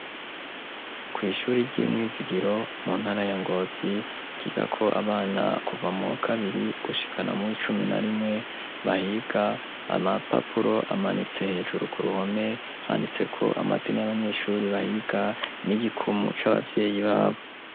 Kwu ishuri ry'imwizigiro mu ntara ya Ngozi ryiga ko abana kuva mu kabiri gushikana mu icumi na rimwe bahiga .Amapapuro amanitse hejuru ku ruhome handitse ko amazina y'abanyeshuri bahiga n'igikumu c'abavyeyi babo.